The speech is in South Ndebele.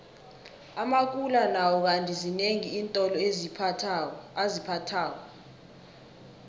amakula nawo kandi zinengi iintolo aziphathako